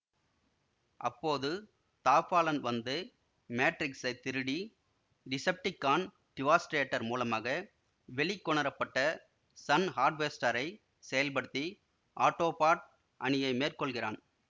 அப்போது the Fallen வந்து மேட்ரிக்ஸை திருடி டிசெப்டிகான் டிவாஸ்டேடர் மூலமாக வெளிக்கொணரப்பட்ட சன் ஹார்வெஸ்டரை செயல்படுத்தி ஆட்டோபாட் அணியை மேற்கொள்கிறான்